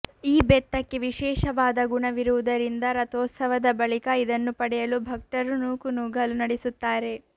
ಈ ಬೆತ್ತಕ್ಕೆ ವಿಶೇಷವಾದ ಗುಣವಿರುವುದರಿಂದ ರಥೋತ್ಸವದ ಬಳಿಕ ಇದನ್ನು ಪಡೆಯಲು ಭಕ್ತರು ನೂಕು ನುಗ್ಗಲು ನಡೆಸುತ್ತಾರೆ